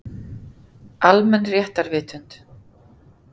Almenn réttarvitund.